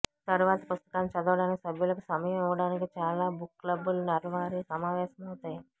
తరువాతి పుస్తకాన్ని చదవడానికి సభ్యులకు సమయం ఇవ్వడానికి చాలా బుక్ క్లబ్బులు నెలవారీ సమావేశమవుతాయి